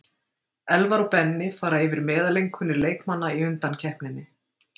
Elvar og Benni fara yfir meðaleinkunnir leikmanna í undankeppninni.